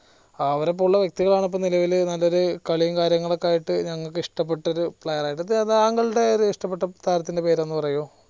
അവരെപോലുള്ള വ്യെക്തികളാണ് ഇപ്പൊ നിലവില് നല്ലൊരു കളിയും കാര്യങ്ങളൊക്കെ ആയിട്ട് ഞങ്ങൾക്ക് ഇഷ്ടപ്പെട്ടൊരു player താങ്ങളുടെ ഒരു ഇഷ്ടപെട്ട താരത്തിന്റെ പേര് ഒന്ന് പറയോ